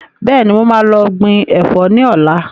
Bẹ́ẹ̀ni, mo máa lọ gbìn Ẹ̀fọ́ ni ọ̀la.